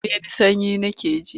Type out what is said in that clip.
Rufe ni sanyi nake ji!